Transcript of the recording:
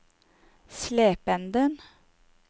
Slependen